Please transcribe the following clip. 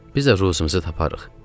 Biz də ruzimizi taparıq.